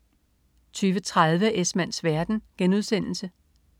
20.30 Esmanns verden*